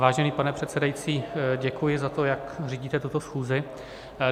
Vážený pane předsedající, děkuji za to, jak řídíte tuto schůzi.